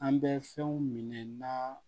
An bɛ fɛnw minɛ na